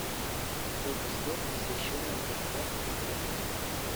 сколько стоит посещение катка в отеле